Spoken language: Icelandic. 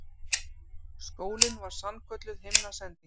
Skólinn var sannkölluð himnasending.